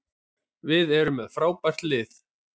Við erum með frábært lið.